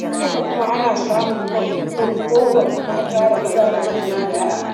Haka kuma ana samun cakuɗuwar maza da mata da yara da manya.